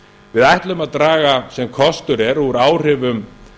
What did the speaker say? við ætlum að draga sem kostur er úr áhrifum